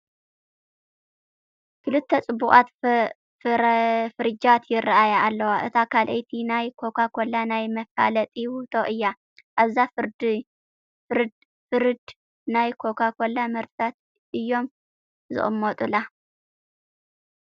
ክልተ ፅቡቓት ፍሪጃት ይርአያ ኣለዋ፡፡ እታ ካልአይቲ ናይ ኮካኮላ ናይ መፋለጢ ውህብቶ እያ፡፡ ኣብዛ ፍርድ ናይ ኮካኮላ ምህርትታ እዮም ዝቕመጡላ፡፡